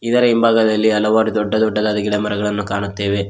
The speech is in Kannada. ಇದರ ಹಿಂಭಾಗದಲ್ಲಿ ಹಲವಾರು ದೊಡ್ಡ ದೊಡ್ಡದಾದ ಗಿಡಮರಗಳನ್ನು ಕಾಣುತ್ತೇವೆ.